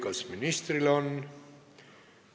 Kas ministril on?